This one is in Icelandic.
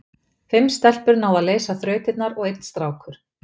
fimm stelpur náðu að leysa allar þrautirnar og einn strákur